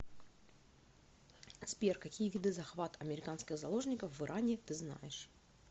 сбер какие виды захват американских заложников в иране ты знаешь